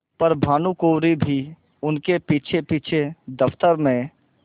पर भानुकुँवरि भी उनके पीछेपीछे दफ्तर में